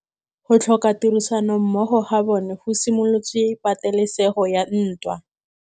Go tlhoka tirsanommogo ga bone go simolotse patêlêsêgô ya ntwa.